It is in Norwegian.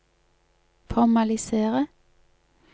formalisere